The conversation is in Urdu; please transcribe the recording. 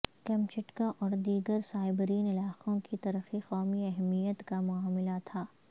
کیمچٹکا اور دیگر سائبیرین علاقوں کی ترقی قومی اہمیت کا معاملہ تھا